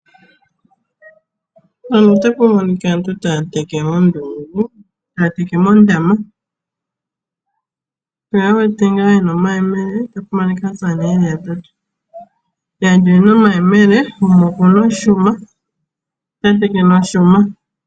Opuna aantu yamwe haya teke moondama oshoka ka ye na uupomba momagumbo gawo. Ohaya teke taya longitha omayemele nenge oshuma, aasamane nayo ohaya teke omeya kayi shi ashike aakulukadhi.